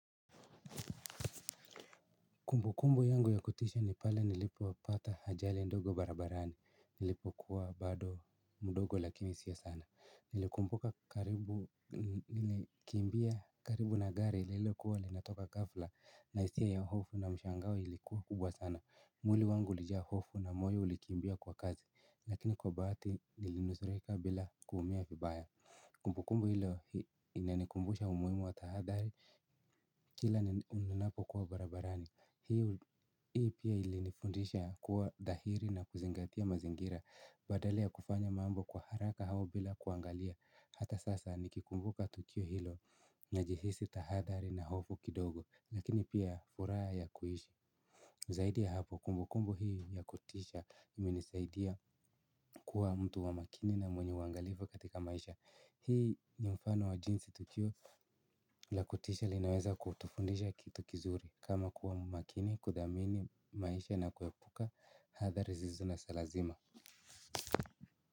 Kumbukumbu yangu ya kutisha ni pale nilipopata ajali ndogo barabarani, nilipokuwa bado mdogo lakini si sana. Nilikumbuka karibu, nilikimbia karibu na gari ilo kuwa linatoka ghafla na hisia ya hofu na mshangao ilikuwa kubwa sana. Mwili wangu ulijaa hofu na moyo ulikiimbia kwa kasi lakini kwa bahati nilinusurika bila kuumia vibaya. Kumbukumbu hilo inanikumbusha umuhimu wa tahadhari kila ninapo kuwa barabarani hii pia ilinifundisha kuwa dhahiri na kuzingatia mazingira badala yakufanya mambo kwa haraka au bila kuangalia. Hata sasa nikikumbuka tukio hilo na jihisi tahadhari na hofu kidogo lakini pia furaha ya kuishi. Zaidi ya hapo kumbukumbu hii yakutisha imenisaidia kuwa mtu wa makini na mwenye uangalifu katika maisha. Hii ni mfano wa jinsi tukio la kutisha linaweza kutufundisha kitu kizuri kama kuwa makini, kuthamini maisha na kuepuka athari zisizo za lazima.